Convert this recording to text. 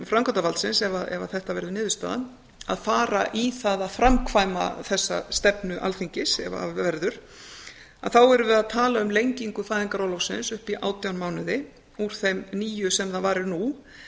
framkvæmdarvaldsins ef að þetta verður niðurstaðan að fara í það að framkvæma þessa stefnu alþingis ef af verður þá erum við að tala um lengingu fæðingarorlofsins upp í átján mánuði úr þeim níu sem það varir nú